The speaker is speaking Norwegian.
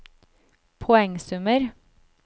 poengsummer